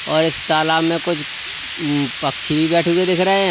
और इस तालाब में कुछ पक्षी बैठे हुए दिख रहे हैं।